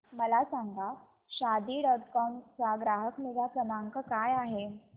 मला सांगा Shaadi dot com चा ग्राहक निगा क्रमांक काय आहे